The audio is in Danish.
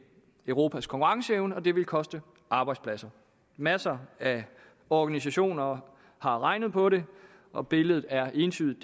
europas konkurrenceevne og vil koste arbejdspladser masser af organisationer har regnet på det og billedet er entydigt